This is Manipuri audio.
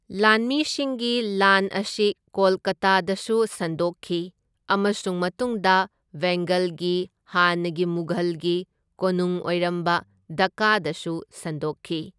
ꯂꯥꯟꯃꯤꯁꯤꯡꯒꯤ ꯂꯥꯟ ꯑꯁꯤ ꯀꯣꯜꯀꯇꯥꯗꯁꯨ ꯁꯟꯗꯣꯛꯈꯤ ꯑꯃꯁꯨꯡ ꯃꯇꯨꯡꯗ ꯕꯦꯡꯒꯜꯒꯤ ꯍꯥꯟꯅꯒꯤ ꯃꯨꯘꯜꯒꯤ ꯀꯣꯅꯨꯡ ꯑꯣꯏꯔꯝꯕ ꯗꯛꯀꯥꯗꯁꯨ ꯁꯟꯗꯣꯛꯈꯤ꯫